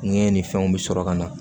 Ɲɛ ni fɛnw bɛ sɔrɔ ka na